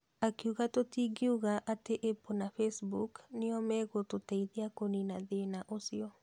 Akiuga tũtingiuga atĩ Apple kana Facebook nĩo megũtũteithia kũnina thĩna ũcio.